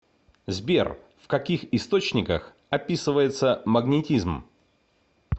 сбер в каких источниках описывается магнетизм